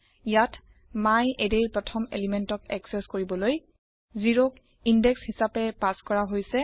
ইয়াত myArrayৰ প্ৰথম পদাৰ্থক একচেস কৰিবলৈ 0 ক ইন্দেশ হিচাপে পাচ কৰা হৈছে